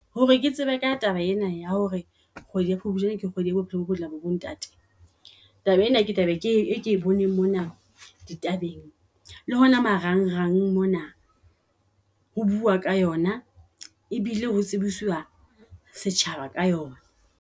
Hore ke tsebe ka taba ena ya hore kgwedi ya Phupujane ke kgwedi ya bophelo bo botle ba bo ntate. Taba ena, ke tlabe ke e ke boneng mona di tabeng le hona marang rang mona ho bua ka yona, e bile ho tsebisuwa setjhaba ka yona.